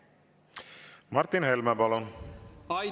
Martin Helme, palun!